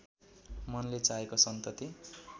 मनले चाहेको सन्तति